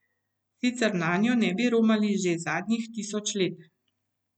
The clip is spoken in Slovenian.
Sicer nanjo ne bi romali že zadnjih tisoč let.